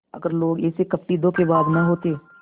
अगर लोग ऐसे कपटीधोखेबाज न होते